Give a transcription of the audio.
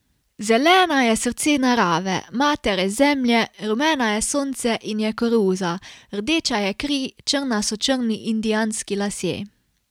Zelena je srce narave, matere zemlje, rumena je sonce in je koruza, rdeča je kri, črna so črni indijanski lasje ...